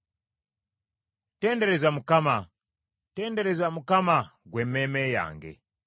Tendereza Mukama ! Tendereza Mukama ggwe emmeeme yange!